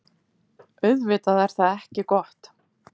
Auðvitað er það ekki gott.